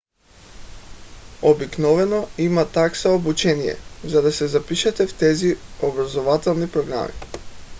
обикновено има такса обучение за да се запишете в тези образователни програми